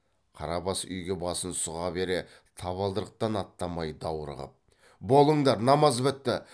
қарабас үйге басын сұға бере табалдырықтан аттамай даурығып болыңдар намаз бітті